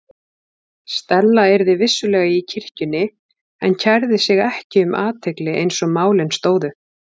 Stella yrði vissulega í kirkjunni en kærði sig ekki um athygli eins og málin stóðu.